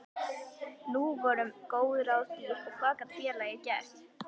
Nú voru góð ráð dýr og hvað gat félagið gert?